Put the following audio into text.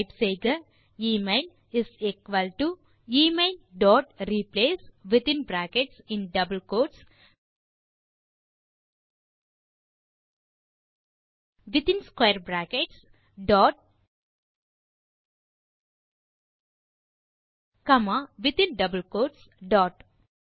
type செய்க email is equal to emailரிப்ளேஸ் within brackets in double quotes dot square brackets பின் மீண்டும் in double quotes ah dot